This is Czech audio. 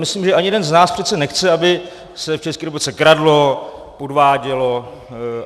Myslím, že ani jeden z nás přece nechce, aby se v České republice kradlo, podvádělo.